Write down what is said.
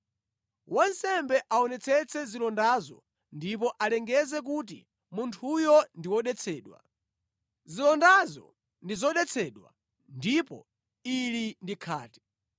Wansembe aonetsetse zilondazo ndipo alengeze kuti munthuyo ndi wodetsedwa. Zilondazo ndi zodetsedwa ndipo ili ndi khate.